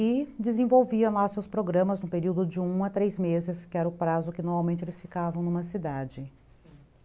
E desenvolvia lá seus programas no período de um a três meses, que era o prazo que normalmente eles ficavam numa cidade.